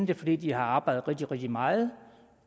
det fordi de har arbejdet rigtig rigtig meget